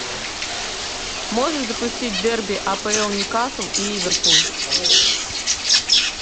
можешь запустить дерби апл ньюкасл и ливерпуль